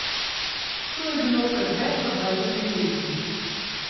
To je bilo pred več kot dvajsetimi leti.